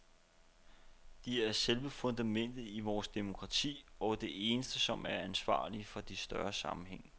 De er selve fundamentet i vores demokrati og de eneste, som er ansvarlige for de større sammenhænge.